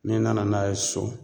N'i nana n'a ye so